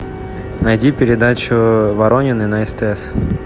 найди передачу воронины на стс